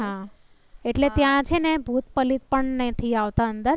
એટલે ત્યાં છેને ભૂત પલિત પણ નથી આવતા.